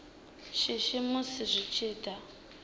shishi musi zwi tshi da